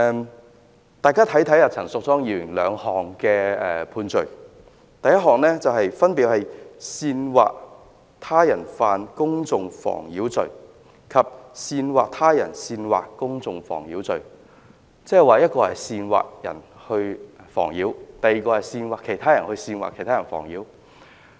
請大家看一看陳淑莊議員的兩項判罪，分別是"煽惑他人犯公眾妨擾罪"及"煽惑他人煽惑公眾妨擾罪"。即是一項是煽惑他人犯公眾妨擾，另一項是煽惑他人煽惑公眾妨擾。